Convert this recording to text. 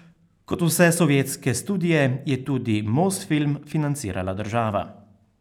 Kot vse sovjetske studie je tudi Mosfilm financirala država.